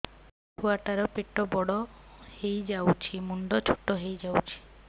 ଛୁଆ ଟା ର ପେଟ ବଡ ହେଇଯାଉଛି ମୁଣ୍ଡ ଛୋଟ ହେଇଯାଉଛି